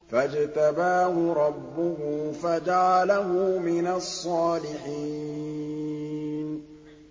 فَاجْتَبَاهُ رَبُّهُ فَجَعَلَهُ مِنَ الصَّالِحِينَ